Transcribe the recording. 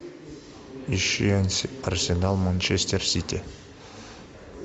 ищи арсенал манчестер сити